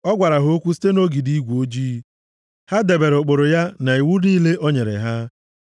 Ọ gwara ha okwu site nʼogidi igwe ojii. Ha debere ụkpụrụ ya na iwu niile o nyere ha.